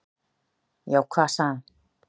"""Já, hvað sagði hann?"""